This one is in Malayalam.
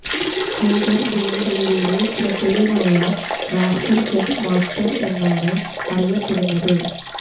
ഹെഡർ ഗോളുകളിലൂടെ ശ്രദ്ധേയനായ റാഫി ഹെഡ് മാസ്റ്റർ എന്നാണ് അറിയപ്പെടുന്നത്